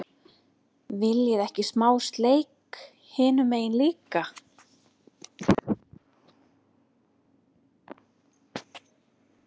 VILJIÐI EKKI SMÁ SLEIK HINUM MEGIN LÍKA!